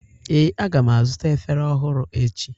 Ee, a ga m azụta efere ọhụrụ echi.